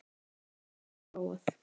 Rakspíra hafði ég prófað.